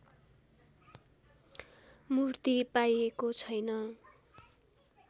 मूर्ति पाइएको छैन